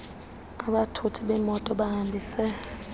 abathuthi bemoto bahambise